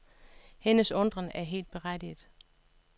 Hendes undren er helt berettiget.